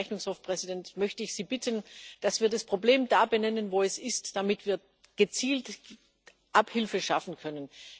Deswegen, Herr Rechnungshofpräsident, möchte ich Sie bitten, dass wir das Problem da benennen, wo es ist, damit wir gezielt Abhilfe schaffen können.